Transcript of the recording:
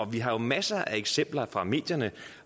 vi har jo masser af eksempler fra medierne